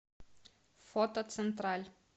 фото централь